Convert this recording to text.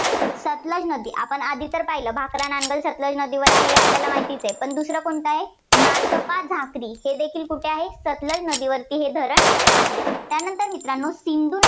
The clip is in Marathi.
सतलज नदी. आपण आधी तर पाहिलं भाकरा नांगल सतलज नदीवर आहे, आपल्याला माहितीच आहे. दुसरं कोणतं आहे, नाथ्पा झाक्री हे देखील कुठे आहे सतलज नदीवर हे धरण आहे. त्यानंतर मित्रांनो सिंधू न~